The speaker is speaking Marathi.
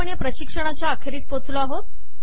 आपण या प्रशिक्षणाच्या अखेरीस पोचलो आहे